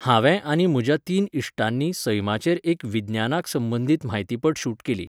हांवें आनी म्हज्या तीन इश्टांनी सैमाचेर एक विज्ञानाक संबंदीत म्हायतीपट शूट केली.